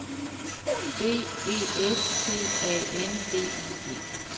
B E S T A N D I G